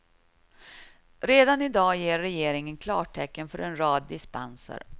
Redan i dag ger regeringen klartecken för en rad dispenser.